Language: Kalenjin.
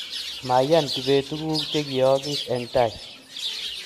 Maiyan kibet tuguk chegiyoogiis eng tai